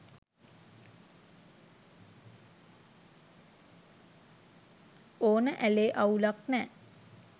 ඕන ඇලේ අවුලක් නෑ.